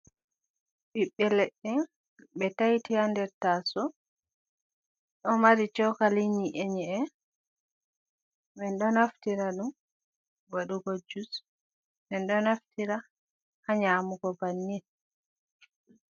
Bibbe leɗɗe be taiti ha nɗer tasou. Ɗo mari shokali nyi'e nye’e. Men ɗo naftira ɗum waɗugo jus. Men ɗo naftira ha nyamugo banni.